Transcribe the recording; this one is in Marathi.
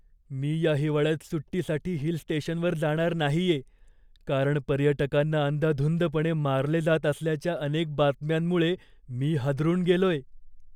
मी या हिवाळ्यात सुट्टीसाठी हिल स्टेशनवर जाणार नाहिये, कारण पर्यटकांना अंदाधुंदपणे मारले जात असल्याच्या अनेक बातम्यांमुळे मी हादरून गेलोय.